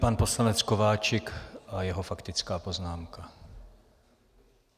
Pan poslanec Kováčik a jeho faktická poznámka.